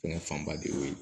Fɛngɛ fanba de y'o ye